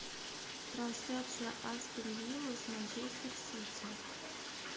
трансляция астон вилла с манчестер сити